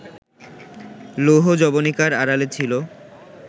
লৌহ যবনিকার আড়ালে ছিল